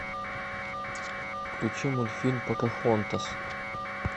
включи мультфильм покахонтас